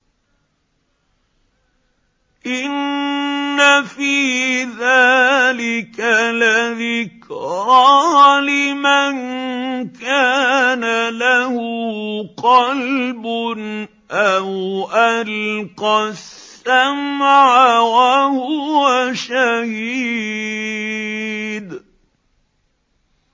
إِنَّ فِي ذَٰلِكَ لَذِكْرَىٰ لِمَن كَانَ لَهُ قَلْبٌ أَوْ أَلْقَى السَّمْعَ وَهُوَ شَهِيدٌ